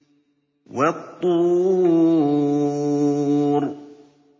وَالطُّورِ